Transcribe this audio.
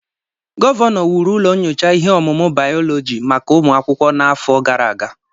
Gọvanọ wuru ụlọ nyocha ihe ọmụmụ bayọlọji maka ụmụ akwụkwọ n'afọ gara aga